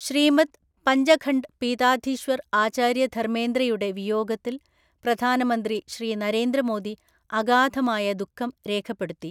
ശ്രീമദ് പഞ്ചഖണ്ഡ് പീതാധീശ്വർ ആചാര്യ ധർമേന്ദ്രയുടെ വിയോഗത്തിൽ പ്രധാനമന്ത്രി ശ്രീ നരേന്ദ്ര മോദി അഗാധമായ ദുഃഖം രേഖപ്പെടുത്തി.